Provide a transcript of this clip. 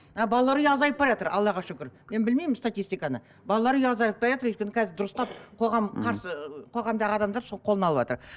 а балалар үйі азайып баратыр аллаға шүкір мен білмеймін статистиканы балалар үйі азайып баратыр өйткені қазір дұрыстап қоғам қарсы қоғамдағы адамдар сол қолына алыватыр